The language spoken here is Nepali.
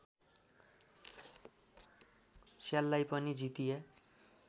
स्याललाई पनि जितिया